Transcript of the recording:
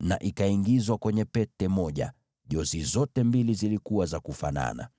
na ikaingizwa kwenye pete moja; mihimili ya pembe hizi mbili ilifanana.